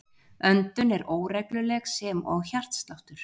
Öndun er óregluleg sem og hjartsláttur.